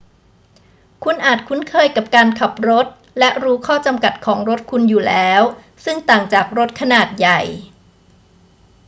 คุณอาจคุ้นเคยกับการขับรถและรู้ข้อจำกัดของรถคุณอยู่แล้ว ซึ่งต่างจากรถขนาดใหญ่